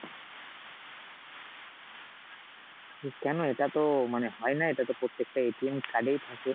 কেন? এটাতো মানে হয়না, এটাতো প্রত্যকেটা card এই থাকে